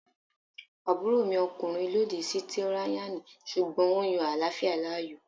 Àbúròmi ọkùnrin lòdì sí tíráyánì sùgbọ́n ó yan àláfíà láàyò